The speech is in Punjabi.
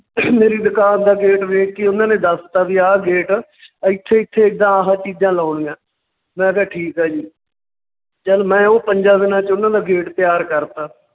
ਮੇਰੀ ਦੁਕਾਨ ਦਾ gate ਵੇਖ ਹੀ ਉਹਨਾਂ ਨੇ ਦੱਸਤਾ ਵੀ ਆਹ gate ਇੱਥੇ ਇੱਥੇ ਏਦਾਂ ਆਹਾ ਚੀਜ਼ਾਂ ਲਾਉਣੀਆਂ, ਮੈਂ ਕਿਹਾ ਠੀਕ ਆ ਜੀ ਚੱਲ ਮੈਂ ਉਹ ਪੰਜਾਂ ਦਿਨਾਂ ਚ ਉਹਨਾਂ ਦਾ gate ਤਿਆਰ ਕਰਤਾ